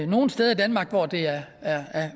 nogle steder i danmark hvor det er